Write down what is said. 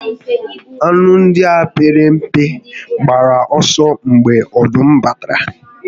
Anụ ndị a pere mpe gbara ọsọ mgbe ọdụm batara